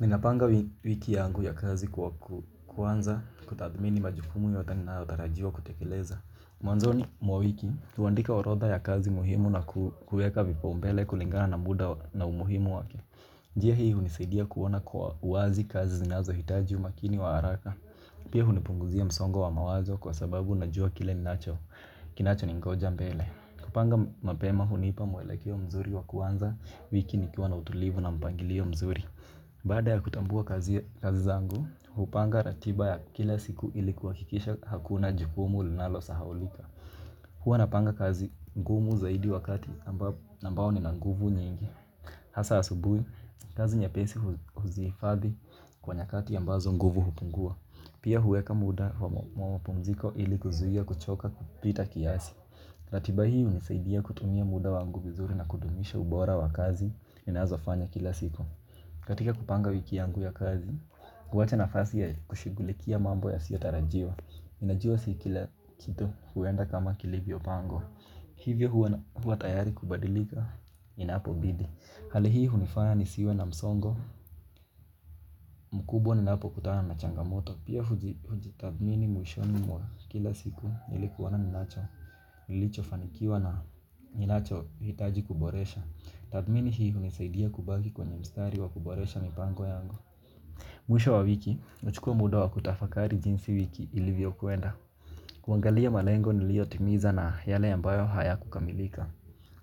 Ninapanga wiki yangu ya kazi kuanza kutathmini majukumu yote ninayotarajiwa kutekeleza. Mwanzoni mwa wiki, huandika orodha ya kazi muhimu na kueka vipaumbele kulingana na muda na umuhimu wake. Njia hii hunisaidia kuona kwa wazi kazi zinazohitaji umakini wa haraka. Pia hunipunguzia msongo wa mawazo kwa sababu najua kile ninacho kinacho ningoja mbele. Kupanga mapema hunipa mwelekeo mzuri wa kuanza wiki nikiwa na utulivu na mpangilio mzuri. Baada ya kutambua kazi zangu, hupanga ratiba ya kila siku ili kuhakikisha hakuna jukumu linalosahaulika. Huwa napanga kazi ngumu zaidi wakati ambao nina nguvu nyingi. Hasa asubuhi, kazi nyepesi huzihifadhi kwa nyakati ambazo nguvu hupungua. Pia huweka muda wa mapumziko ili kuzuia kuchoka kupita kiasi. Ratiba hii hunisaidia kutumia muda wangu vizuri na kudumisha ubora wa kazi ninazofanya kila siku. Katika kupanga wiki yangu ya kazi, kuwacha nafasi ya kushughulikia mambo yasiyotarajiwa. Ninajua si kila kitu huenda kama kilivyopangwa. Hivyo huwa tayari kubadilika inapobidi. Hali hii hunifanya nisiwe na msongo, mkubwa ninapokutana na changamoto. Pia hujitathmini mwishoni mwa kila siku ili kuona ninacho, nilichofanikiwa na ninachohitaji kuboresha. Tathmini hii hunisaidia kubaki kwenye mstari wa kuboresha mipango yangu. Mwisho wa wiki, nachukua muda wa kutafakari jinsi wiki ilivyokwenda. Kuangalia malengo niliotimiza na yale ambayo hayakukamilika.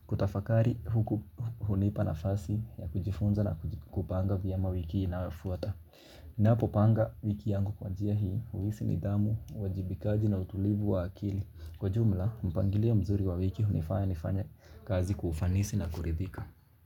Kutafakari huku hunipa nafasi ya kujifunza na kupanga vyema wiki inayofuata. Napopanga wiki yangu kwa njia hii, huhisi nidhamu, uajibikaji na utulivu wa akili. Kwa jumla, mpangilio mzuri wa wiki hunifanya nifanye kazi kwa ufanisi na kuridhika.